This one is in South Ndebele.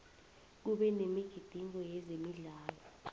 kube nemigidingo yezemidlalo